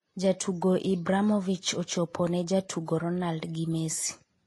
jatugo Ibramovich ochopo ne jatugo Ronaldo gi Messi